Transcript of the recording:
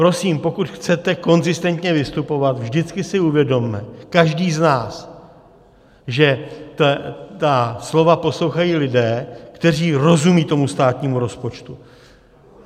Prosím, pokud chcete konzistentně vystupovat, vždycky si uvědomme, každý z nás, že ta slova poslouchají lidé, kteří rozumí tomu státnímu rozpočtu.